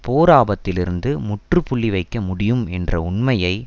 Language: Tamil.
போர் ஆபத்திலிருந்து முற்றுப்புள்ளி வைக்க முடியும் என்ற உண்மையை